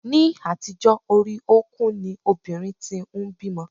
Ni àtijó, orí okùn ni obìnrin tí ń bímọ.